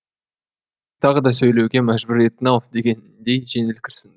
тағы да сөйлеуге мәжбүр еттің ау дегендей жеңіл күрсінді